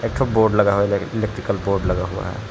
Board लग रहा है बोर्ड लगा हुआ है।